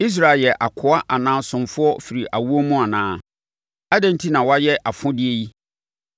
Israel yɛ akoa anaa ɔsomfoɔ firi awoɔ mu anaa? Adɛn enti na wayɛ afodeɛ yi?